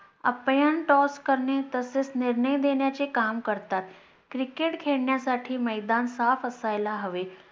UmpireToss करणे तसेच निर्णय देण्याचे काम करतात. Cricket खेळण्यासाठी मैदान साफ असायला हवे.